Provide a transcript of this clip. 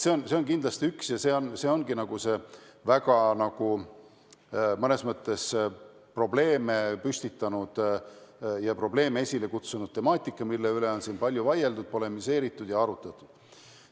See on kindlasti väga mitmes mõttes probleeme tekitanud ja selle temaatika üle on palju vaieldud, polemiseeritud ja arutletud.